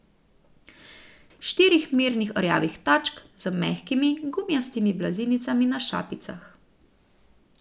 Štirih mirnih rjavih tačk, z mehkimi, gumijastimi blazinicami na šapicah.